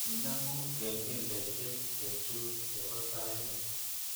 Inemu kengeleshek chechu chebo sait ni